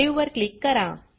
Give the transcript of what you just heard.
save वर click करा